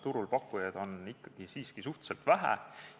Turul pakkujaid on siiski suhteliselt vähe.